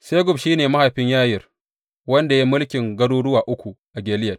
Segub shi ne mahaifin Yayir, wanda ya yi mulkin garuruwa uku a Gileyad.